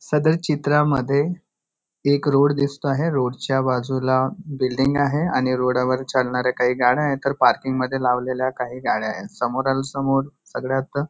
सदर चित्रामध्ये एक रोड दिसतो आहे रोड च्या बाजूला बिल्डिंग आहे आणि रोडा वर चालणाऱ्या काही गाड्या आहेत तर पार्किंग मध्ये लावलेल्या काही गाड्या आहेत समोरील समोर सगळ्यात --